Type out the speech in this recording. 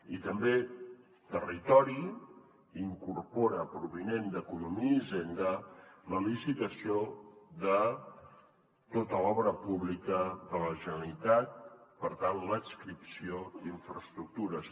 i també territori incorpora provinent d’economia i hisenda la licitació de tota l’obra pública de la generalitat per tant l’adscripció d’infraestructures